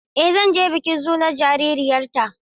Eh zan je bikin sunan jaririyarta.